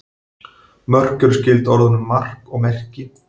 Mörk er skyld orðunum mark og merki.